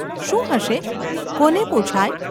શું હશે ? કોને પુછાય?